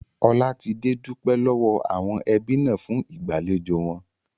Olatide dupe lowo awon ebi na fun igbalejò won